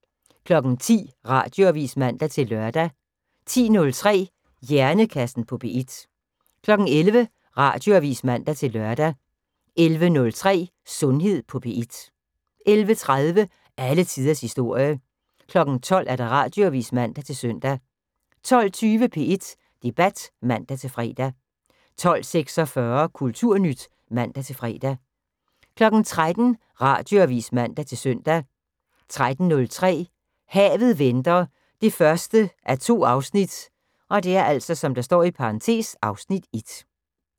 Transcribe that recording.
10:00: Radioavis (man-lør) 10:03: Hjernekassen på P1 11:00: Radioavis (man-lør) 11:03: Sundhed på P1 11:30: Alle tiders historie 12:00: Radioavis (man-søn) 12:20: P1 Debat (man-fre) 12:46: Kulturnyt (man-fre) 13:00: Radioavis (man-søn) 13:03: Havet venter 1:2 (Afs. 1)